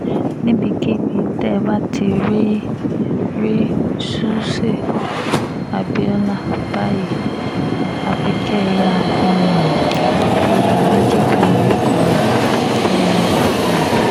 níbikíbi tẹ́ ẹ bá ti rí rí ṣùṣe abiola báyìí àfi kẹ́ ẹ yáa um fi aláàjì kún orúkọ um rẹ̀